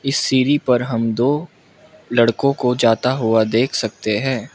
इस सीढ़ी पर हम दो लड़कों को जाता हुआ देख सकते हैं।